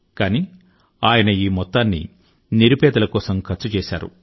కాని ఆయన ఈ మొత్తాన్ని నిరుపేదల కోసం ఖర్చు చేశారు